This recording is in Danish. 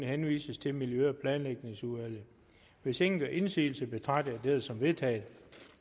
henvises til miljø og planlægningsudvalget hvis ingen gør indsigelse betragter jeg dette som vedtaget